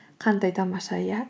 қандай тамаша иә